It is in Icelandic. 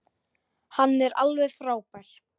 Hann er alveg frábær.